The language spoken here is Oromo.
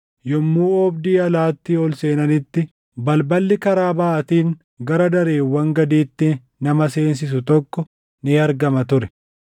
Yommuu oobdii alaatii ol seenanitti, balballi karaa baʼaatiin gara dareewwan gadiitti nama seensisu tokko ni argama ture.